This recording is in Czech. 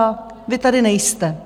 A vy tady nejste.